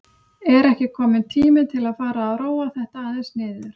Er ekki kominn tími til að fara að róa þetta aðeins niður?